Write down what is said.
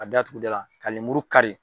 Ka datugu i da la ka lemuru ka kari.